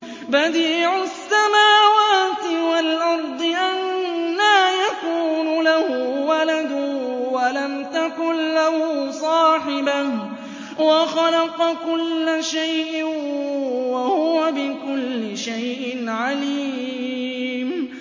بَدِيعُ السَّمَاوَاتِ وَالْأَرْضِ ۖ أَنَّىٰ يَكُونُ لَهُ وَلَدٌ وَلَمْ تَكُن لَّهُ صَاحِبَةٌ ۖ وَخَلَقَ كُلَّ شَيْءٍ ۖ وَهُوَ بِكُلِّ شَيْءٍ عَلِيمٌ